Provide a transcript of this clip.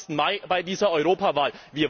25.Mai, bei dieser Europawahl.